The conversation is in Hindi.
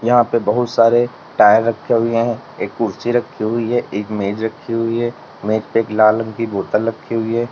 यहां पे बहुत सारे टायर रखे हुए हैं एक कुर्सी रखी हुई है एक मेज रखी हुई है मेज पे लाल रंग की बोतल रखी हुई है।